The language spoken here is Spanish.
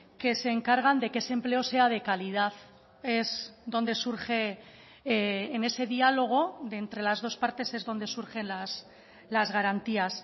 que se encargan de que ese empleo sea de calidad es donde surge en ese diálogo de entre las dos partes es donde surgen las garantías